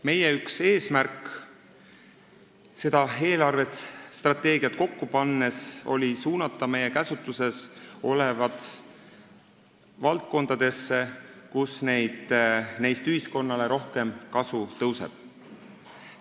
Meie üks eesmärke seda eelarvestrateegiat kokku pannes oli suunata meie käsutuses olevad summad valdkondadesse, kus neist ühiskonnale rohkem kasu tõuseb.